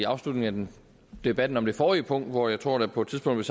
afslutningen af debatten om det forrige punkt hvor jeg tror der på et tidspunkt